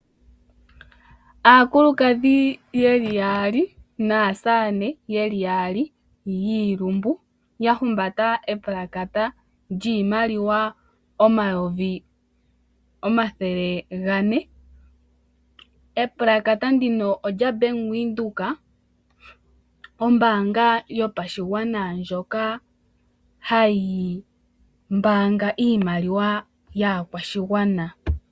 Aakulukadhi ye li yaali naasamane ye li yaali yiilumbu ya humbata epulakata lyiimaliwa omayovi omathele gane. Epulakata ndika olya Bank Windhoek, ombaanga yopashigwana ndjoka hayi mbaanga iimaliwa yaakwashigwana.